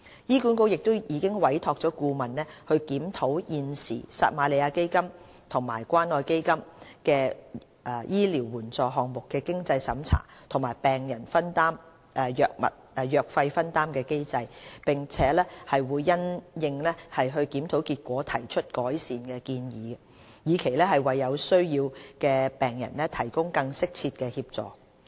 醫管局已委託顧問檢討現時撒瑪利亞基金及關愛基金醫療援助項目的經濟審查和病人藥費分擔機制，並會因應檢討結果提出改善建議，以期為有需要的病人提供更適切的協助。